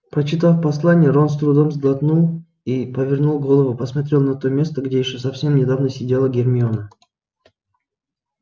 прочитав послание рон с трудом сглотнул и повернув голову посмотрел на то место где ещё совсем недавно сидела гермиона